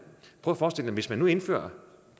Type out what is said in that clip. hvis man indfører